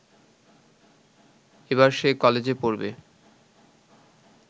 এবার সে কলেজে পড়বে